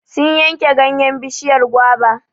Sun yanke ganyen bishiyar goba.